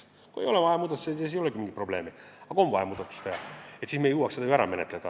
Kui ei ole vaja muudatusi, siis ei olegi mingit probleemi, aga kui on vaja muudatusi teha, siis me peame ikkagi jõudma selle ära menetleda.